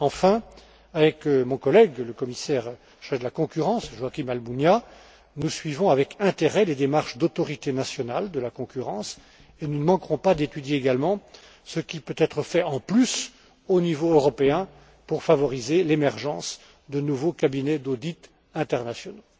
Enfin, avec mon collègue, le commissaire chargé de la concurrence, Joaquín Almunia, nous suivons avec intérêt les démarches des autorités nationales de la concurrence et nous ne manquerons pas d'étudier également ce qui peut être fait en plus au niveau européen pour favoriser l'émergence de nouveaux cabinets d'audit internationaux.